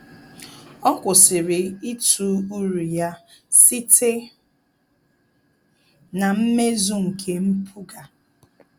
Ọ́ kwụ́sị̀rị̀ ítụ́ uru ya site na mmezu nke mpụga.